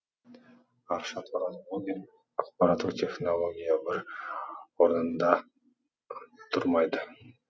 аршат ораз блогер ақпаратттық технология бір орнында тұрмайды